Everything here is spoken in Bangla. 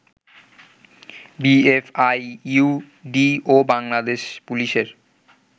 বিএফআইইউডি ও বাংলাদেশ পুলিশের